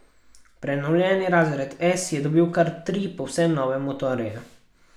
Prenovljeni razred S je dobil kar tri povsem nove motorje.